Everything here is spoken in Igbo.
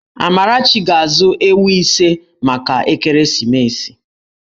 Amarachi ga-azụ ewu ise maka ekeresimesi.